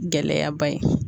Gɛlɛyaba ye